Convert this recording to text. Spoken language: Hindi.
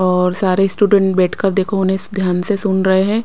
और सारे स्टूडेंट बैठकर देखो उन्हें ध्यान से सुन रहे हैं।